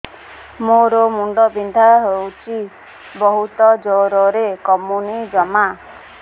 ମୋର ମୁଣ୍ଡ ବିନ୍ଧା ହଉଛି ବହୁତ ଜୋରରେ କମୁନି ଜମା